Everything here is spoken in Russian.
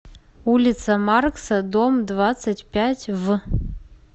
улица маркса дом двадцать пять в